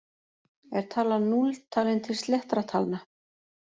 Er talan núll talin til sléttra talna?